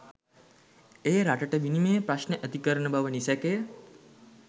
එය රටට විනිමය ප්‍රශ්න ඇති කරන බව නිසැකය.